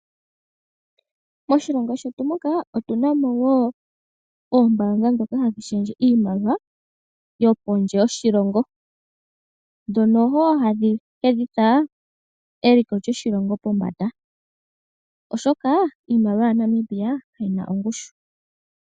Moshilongo shetu muka otuna mo woo ombaanga dhoka hadhi shendje iimaliwa yo pondje yoshilongo dhono wo hadhi hedhitha eliko lyoshilongo pombanda oshoka iimaliwa ya Namibia kayina ongushu.